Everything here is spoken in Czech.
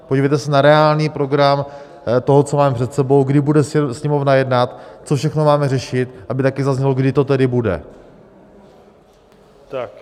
Podívejte se na reálný program toho, co máme před sebou, kdy bude Sněmovna jednat, co všechno máme řešit, aby taky zaznělo, kdy to tedy bude.